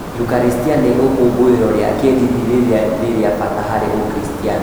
yukarĩstia nĩ ikũngũĩro rĩa kĩĩndini rĩrĩa nĩ rĩa bata harĩ Ũkristiano.